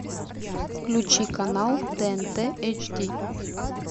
включи канал тнт эйч ди